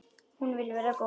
Hún vill vera góð.